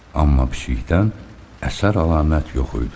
Amma pişikdən əsər-əlamət yox idi.